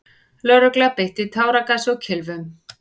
Lögregla beitti táragasi og kylfum.